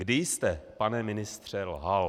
Kdy jste pane ministře lhal?